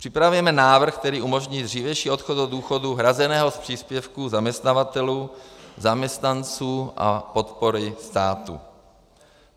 Připravujeme návrh, který umožní dřívější odchod do důchodu hrazeného z příspěvků zaměstnavatelů, zaměstnanců a podpory státu.